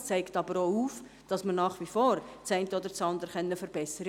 Es zeigt aber auch auf, dass wir nach wie vor das eine oder andere verbessern können.